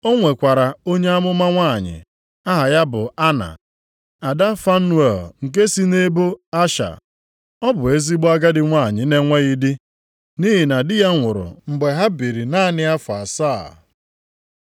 O nwekwara onye amụma nwanyị, aha ya bụ Ana, ada Fanuel nke si nʼebo Asha. Ọ bụ ezigbo agadi nwanyị na-enweghị di, nʼihi na di ya nwụrụ mgbe ha biri naanị afọ asaa.